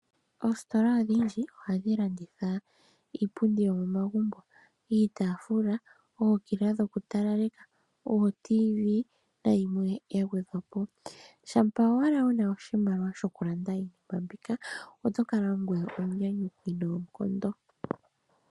Oositola odhindji ohadhi landitha iipundi yomomagumbo, iitaafula , ookila dhokutalaleka ooTV nayimwe ya gwedhwa po. Shampa owala wu na oshimaliwa shokulanda iinima mbika, oto kala ongoye omunyanyukwi noonkondo.